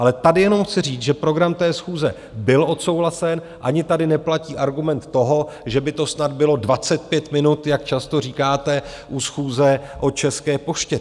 Ale tady jenom chci říct, že program té schůze byl odsouhlasen, ani tady neplatí argument toho, že by to snad bylo 25 minut, jak často říkáte u schůze o České poště.